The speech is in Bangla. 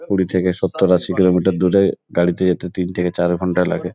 কুড়ি থেকে সত্তর আশি কিলোমিটার দূরে গাড়ি থেকে তি-তিন থেকে চার ঘণ্টা লাগে।